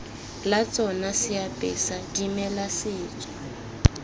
la tsona seapesa dimela setso